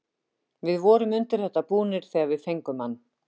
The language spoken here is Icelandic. Við vorum undir þetta búnir þegar við fengum hann.